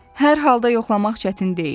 Hər halda yoxlamaq çətin deyil.